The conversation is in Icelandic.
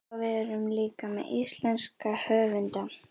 Og við erum líka með íslenska höfunda.